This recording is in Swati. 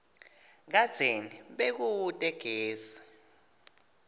kadzeni bekute gesi